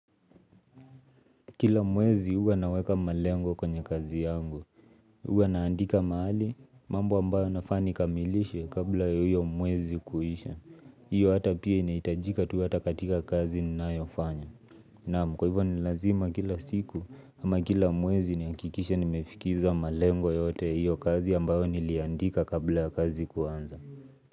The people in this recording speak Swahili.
Kila mwezi huwa naweka malengo kwenye kazi yangu. Huwa naandika mahali mambo ambayo nafaa ni kamilishe kabla ya hiyo mwezi kuisha. Hiyo hata pia inahitajika tu hata katika kazi ninayofanya. Naam, kwa hivyo ni lazima kila siku ama kila mwezi ni hakikishe nimefikiza malengo yote ya hiyo kazi ambayo niliandika kabla ya kazi kuanza.